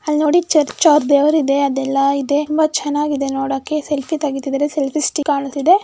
ಅಲ್ಲಿ ನೋಡಿ ಚರ್ಚವ್ರ್ ದೇವ್ರಿದೆ ಅದೆಲ್ಲಾ ಇದೆ ತುಂಬಾ ಚೆನ್ನಾಗಿದೆ ನೋಡೋಕ್ಕೆ ಸೆಲ್ಫಿ ತೆಗೀತಿದಾರೆ ಸೆಲ್ಫಿ ಸ್ಟಿಕ್ ಕಾಣಿಸ್ತಿದೆ.